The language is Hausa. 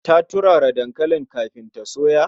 Ta turara dankalin kafin ta soya.